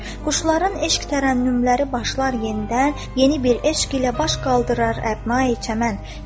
Quşların eşq tərənnümləri başlar yenidən, yeni bir eşq ilə baş qaldırar əvnayi çəmən.